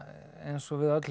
eins og við öll hef